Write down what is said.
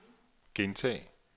gentag